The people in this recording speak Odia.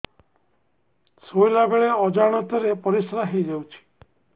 ଶୋଇଲା ବେଳେ ଅଜାଣତ ରେ ପରିସ୍ରା ହେଇଯାଉଛି